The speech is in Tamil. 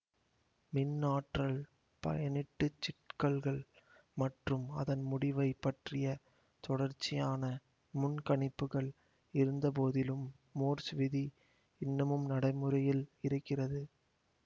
மின்ஆற்றல் பயனீட்டுச் சிக்கல்கள் மற்றும் அதன் முடிவைப் பற்றிய தொடர்ச்சியான முன் கணிப்புகள் இருந்தபோதிலும் மோர்ஸ் விதி இன்னமும் நடைமுறையில் இருக்கிறது